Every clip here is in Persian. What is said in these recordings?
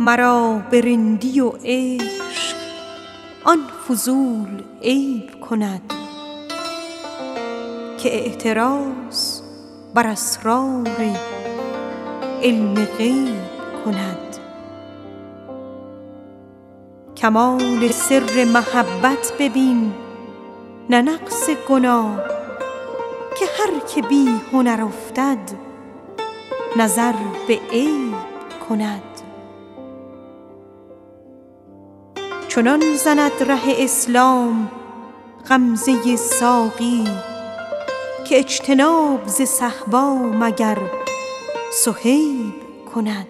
مرا به رندی و عشق آن فضول عیب کند که اعتراض بر اسرار علم غیب کند کمال سر محبت ببین نه نقص گناه که هر که بی هنر افتد نظر به عیب کند ز عطر حور بهشت آن نفس برآید بوی که خاک میکده ما عبیر جیب کند چنان زند ره اسلام غمزه ساقی که اجتناب ز صهبا مگر صهیب کند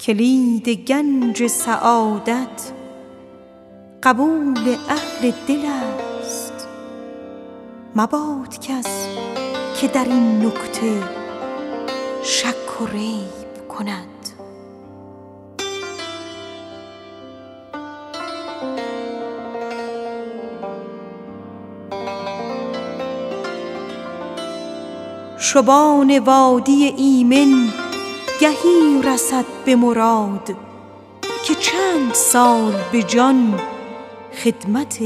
کلید گنج سعادت قبول اهل دل است مباد آن که در این نکته شک و ریب کند شبان وادی ایمن گهی رسد به مراد که چند سال به جان خدمت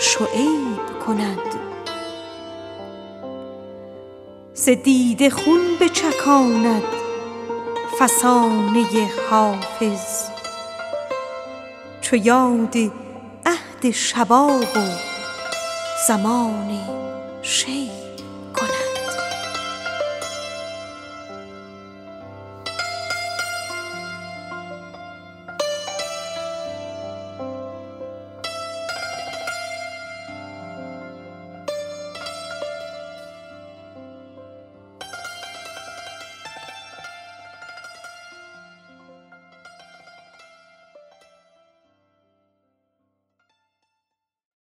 شعیب کند ز دیده خون بچکاند فسانه حافظ چو یاد وقت زمان شباب و شیب کند